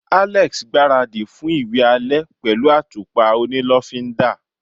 Alex gbaradi fún iwe ale pẹlu atupa oni lofinda